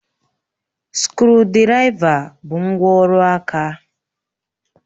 Skrụdiraiva bụ ngwá ọrụ aka